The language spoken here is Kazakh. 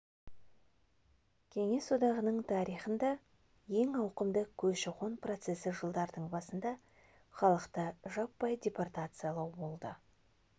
кеңес одағының тарихында ең ауқымды көші-қон процесі жылдардың басында халықты жаппай депортациялау болды